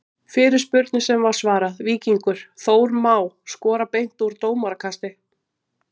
Fyrirspurnir sem var svarað: Víkingur- Þór Má skora beint úr dómarakasti?